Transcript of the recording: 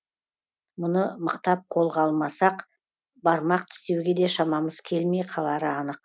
мұны мықтап қолға алмасақ бармақ тістеуге де шамамыз келмей қалары анық